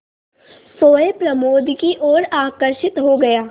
सोए प्रमोद की ओर आकर्षित हो गया